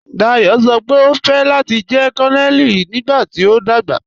Dayọ sọ́ pe o fẹ́ láti jẹ̀ Kònonèlì nígbàtí o dagba.